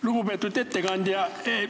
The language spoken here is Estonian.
Lugupeetud ettekandja!